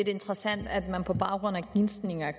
en gisning og